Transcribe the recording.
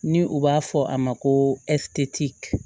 Ni u b'a fɔ a ma ko